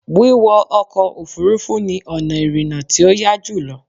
Wíwọ ọkọ̀ Òfurufú ni ọ̀nà ìrìnà tí ó yá jùlọ